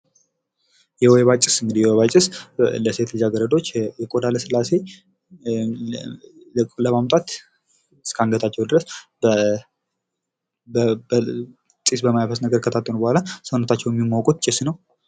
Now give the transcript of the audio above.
የወይባ ጭስ እንግዲህ የወይባ ጭስ ለሴት ልጅአገረዶች የቆዳ ሥላሴ ለማምጣት እስከ አንገታቸው ድረስ ጢስ በማያስ ነገር ከታጠኑ በኋላ ሰውነታቸውን የሚሞቁት ጭስ ነው።